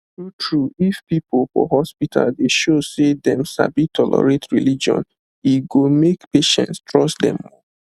true true if people for hospital dey show say them sabi tolerate religion e go make patients trust dem more